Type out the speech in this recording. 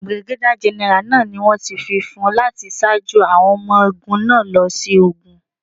Bìrìgádíà gẹ́nẹ́rà náà ni wón ti fífún láti ṣáájú àwọn ọmọ ogún náà lọ sí ogun.